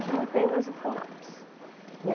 Hoje não tem mais o Funapes.